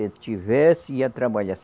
Se ele tivesse, ia trabalhar.